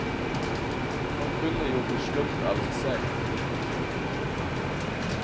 Han kunne jo bli slukt av en selv.